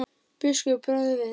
Biskupi bregður við.